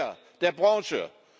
Die Gier der Branche!